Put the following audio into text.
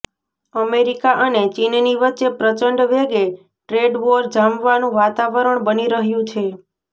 America અને ચીનની વચ્ચે પ્રચંડ વેગે ટ્રેડવોર જામવાનું વાતારણ બની રહ્યું છે